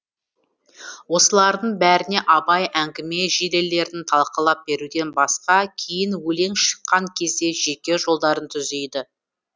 осылардың бәріне абай әңгіме желілерін талқылап беруден басқа кейін өлең шыққан кезде жеке жолдарын түзейді